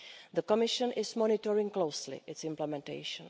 The Commission is monitoring closely its implementation.